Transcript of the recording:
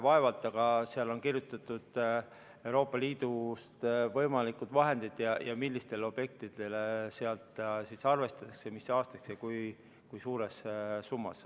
Vaevalt, aga sinna on kirjutatud võimalikud vahendid Euroopa Liidust ja see, millistele objektidele sealt raha arvestatakse, mis aastaks ja kui suures summas.